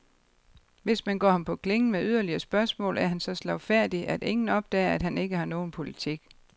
Hvis man går ham på klingen med yderligere spørgsmål, er han så slagfærdig, at ingen opdager, at han ikke har nogen politik.